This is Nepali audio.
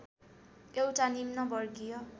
एउटा निम्न वर्गीय